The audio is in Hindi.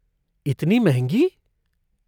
इतनी महंगी।